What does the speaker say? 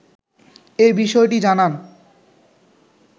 এ বিষয়টি জানান